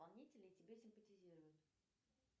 исполнителей тебе симпатизируют